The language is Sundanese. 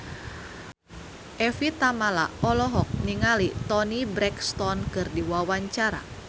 Evie Tamala olohok ningali Toni Brexton keur diwawancara